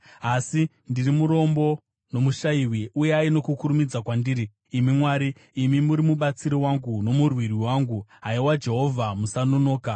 Asi ndiri murombo nomushayiwi; uyai nokukurumidza kwandiri, imi Mwari. Imi muri mubatsiri wangu nomurwiri wangu; Haiwa Jehovha, musanonoka.